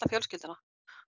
fjölskylduna